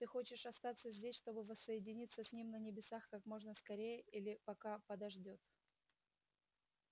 ты хочешь остаться здесь чтобы воссоединиться с ним на небесах как можно скорее или пока подождёт